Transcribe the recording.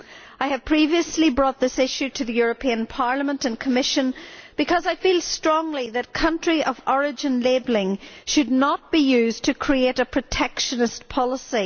I have previously brought this issue up before Parliament and the Commission because I feel strongly that country of origin labelling should not be used to create a protectionist policy.